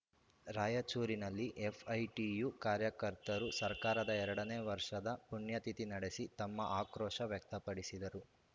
ರಾಯಚೂರಿನಲ್ಲಿ ಎಫ್‌ಐಟಿಯು ಕಾರ್ಯಕರ್ತರು ಸರ್ಕಾರದ ಎರಡನೇ ವರ್ಷದ ಪುಣ್ಯತಿಥಿ ನಡೆಸಿ ತಮ್ಮ ಆಕ್ರೋಶ ವ್ಯಕ್ತಪಡಿಸಿದರು